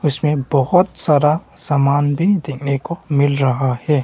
इसमें बहुत सारा सामान भी देखने को मिल रहा है।